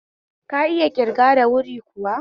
Ka iya ƙirga da wuri kuwa?